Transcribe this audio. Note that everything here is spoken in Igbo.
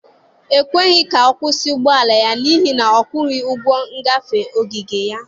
E kweghị ka ọ kwụsị ụgbọala ya n'ihi na ọ kwụghị ụgwọ ngafe ogige ya.